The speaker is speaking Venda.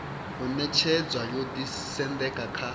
u ṅetshedzwa yo ḓisendeka kha